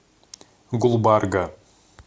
гулбарга